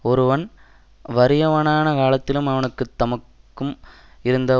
ஒருவன் வறியவனான காலத்திலும் அவனுக்கு தமக்கும் இருந்த